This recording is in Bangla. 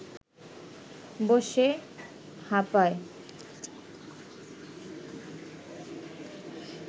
বসে হাঁপায়